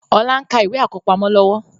Ọlá ń ka ìwé àkọ́pamọ́ lọ́wọ́